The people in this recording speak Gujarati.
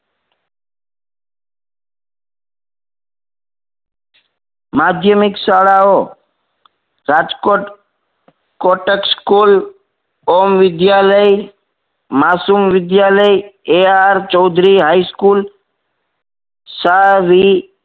માધ્યમિક શાળાઓ Rajkot Kotak school Om Vidyalaya Masum Vidyalaya A R Chaudhary high school Savi